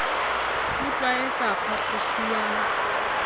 o tl waetsa phaphusi ya